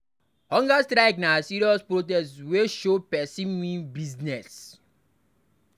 Hunger strike na serious protest wey show say pesin mean business.